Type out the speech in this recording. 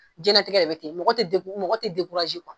Jɛnatigɛ de be ten mɔgɔ te mɔgɔ te dekuraze kuwa